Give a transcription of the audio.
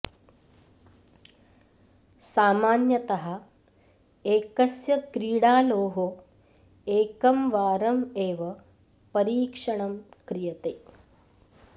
सामान्यतः एकस्य क्रीडालोः एकं वारं एव परीक्षणं क्रियते